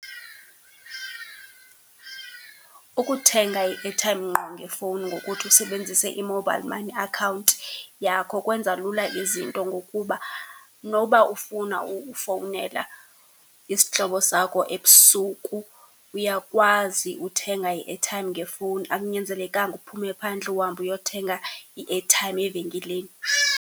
Ukuthenga i-airtime ngqo ngefowuni ngokuthi usebenzise i-mobile money account yakho kwenza lula izinto ngokuba noba ufuna ukufowunela isihlobo sakho ebusuku, uyakwazi uthenga i-airtime ngefowuni. Akunyanzelekanga uphume phandle uhambe uyothenga i-airtime evenkileni.